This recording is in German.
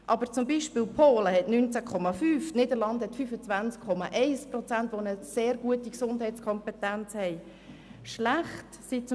Aber Polen erreicht zum Beispiel einen Wert von 19,5 Prozent, und in den Niederlanden verfügen 25,1 Prozent über eine sehr gute Gesundheitskompetenz.